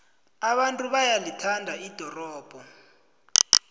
abantu bayalithanda ldorobho